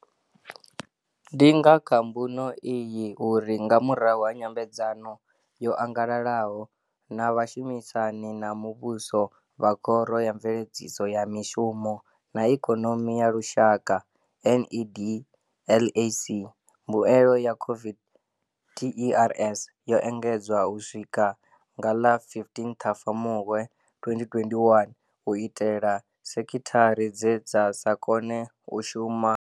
Ndi nga kha mbuno iyi uri, nga murahu ha nyambedzano yo angalalaho na vhashumisani na muvhuso vha Khoro ya Mveledziso ya Mishumo na Ikonomi ya Lushaka NEDLAC, mbuelo ya COVID TERS yo engedzwa u swika nga ḽa 15 Ṱhafamuhwe 2021 u itela sekhithara dze dza sa kone u shuma lwo fhelelaho.